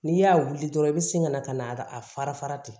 N'i y'a wuli dɔrɔn i bɛ segin ka na ka na a fara fara ten